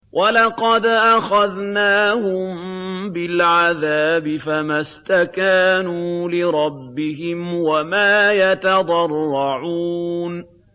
وَلَقَدْ أَخَذْنَاهُم بِالْعَذَابِ فَمَا اسْتَكَانُوا لِرَبِّهِمْ وَمَا يَتَضَرَّعُونَ